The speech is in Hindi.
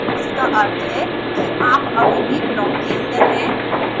इसका अर्थ है कि आप अभी भी ब्लॉक के अंदर हैं